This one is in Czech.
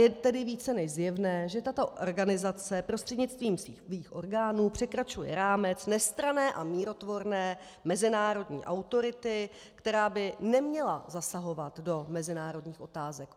Je tedy více než zjevné, že tato organizace prostřednictvím svých orgánů překračuje rámec nestranné a mírotvorné mezinárodní autority, která by neměla zasahovat do mezinárodních otázek.